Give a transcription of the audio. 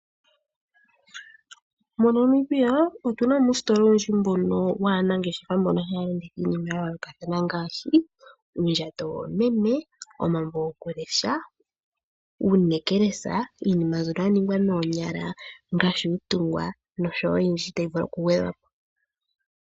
MoNamibia otu na uustola owundji mbono waanangeshefa mbono haya landitha iinima ya yooloka ngaashi uundjato woomeme, omambo gokulesha, uunekelesa, iinima mbyono ya ningwa noonyala ngaashi uutungwa nosho wo oyindji tayi vulu okugwedhwa po.